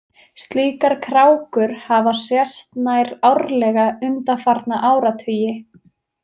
Slíkar krákur hafa sést nær árlega undanfarna áratugi.